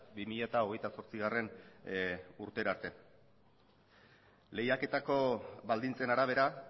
bi mila hogeita zortzigarrena urtera arte lehiaketa baldintzen arabera